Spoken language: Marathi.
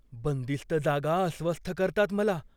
बंदिस्त जागा अस्वस्थ करतात मला.